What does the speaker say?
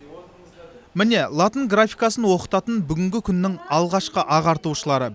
міне латын графикасын оқытатын бүгінгі күннің алғашқы ағартушылары